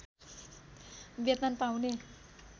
वेतन पाउने